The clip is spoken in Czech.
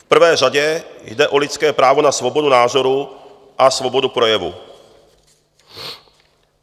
V prvé řadě jde o lidské právo na svobodu názoru a svobodu projevu.